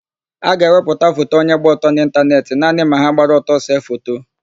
A ga-ewepụta foto onye gba ọtọ n'ịntanetị naanị ma ha gbara ọtọ see foto.